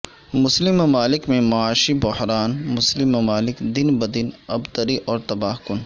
مسلم ممالک میں معاشی بحران مسلم ممالک دن بہ دن ابتری اور تباہ کن